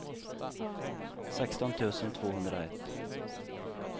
sexton tusen tvåhundraett